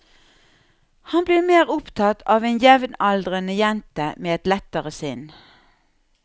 Han blir mer opptatt av en jevnaldrende jente med et lettere sinn.